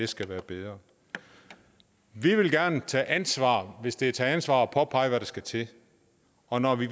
skal være bedre vi vil gerne tage ansvar hvis det er at tage ansvar at påpege hvad der skal til og når vi